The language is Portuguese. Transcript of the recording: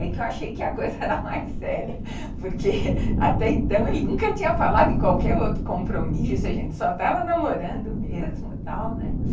Aí que eu achei que a coisa era mais séria, porque até então ele nunca tinha falado de qualquer outro compromisso, a gente só estava namorando mesmo e tal, né.